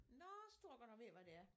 Nåh så tror jeg godt jeg ved hvad det er